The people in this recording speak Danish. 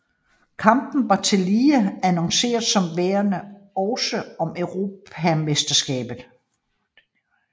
Kampen var tillige annonceret som værende også om europamesterskabet